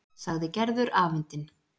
sagði Gerður afundin.